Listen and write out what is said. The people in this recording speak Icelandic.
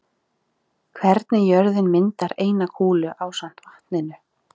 Hvernig jörðin myndar eina kúlu ásamt vatninu.